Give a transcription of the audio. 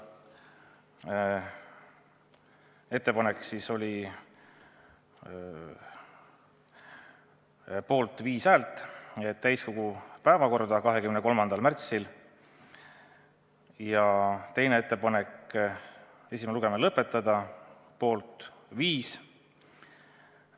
Esimene ettepanek oli saata eelnõu täiskogu päevakorda 23. märtsiks, ja teine ettepanek oli esimene lugemine lõpetada, mõlema poolt viis.